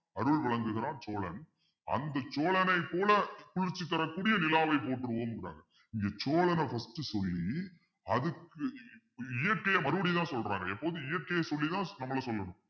அருள் வழங்குகிறான் சோழன் அந்த சோழனைப் போல குளிர்ச்சி தரக்கூடிய நிலாவை போற்றுவோம்ங்கிறாங்க இங்க சோழனை first சொல்லி அதுக்கு இயற்கையை மறுபடியும்தான் சொல்றாரு எப்போதும் இயற்கையை சொல்லிதான் நம்மள சொல்லணும்